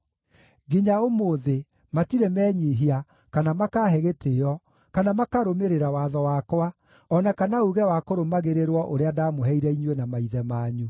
Nginya ũmũthĩ, matirĩ menyiihia, kana makaahe gĩtĩĩo, kana makarũmĩrĩra watho wakwa, o na kana uuge wa kũrũmagĩrĩrwo ũrĩa ndaamũheire inyuĩ na maithe manyu.